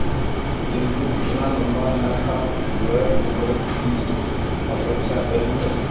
किंतु उतना लंबा न था वह उम्र की अपेक्षा कहीं